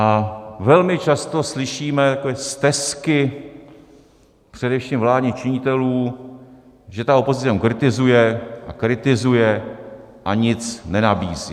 A velmi často slyšíme takové stesky především vládních činitelů, že ta opozice jenom kritizuje a kritizuje a nic nenabízí.